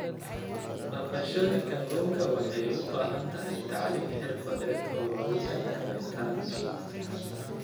Dhaqashada kalluunka waxay u baahan tahay tacliin xirfadeed oo loogu talagalay taranta.